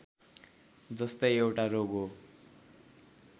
जस्तै एउटा रोग हो